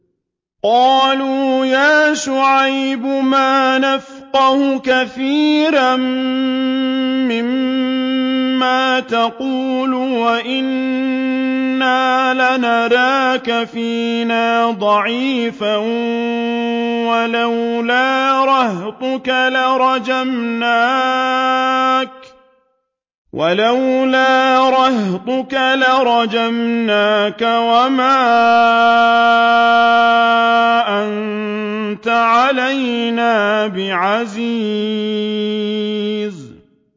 قَالُوا يَا شُعَيْبُ مَا نَفْقَهُ كَثِيرًا مِّمَّا تَقُولُ وَإِنَّا لَنَرَاكَ فِينَا ضَعِيفًا ۖ وَلَوْلَا رَهْطُكَ لَرَجَمْنَاكَ ۖ وَمَا أَنتَ عَلَيْنَا بِعَزِيزٍ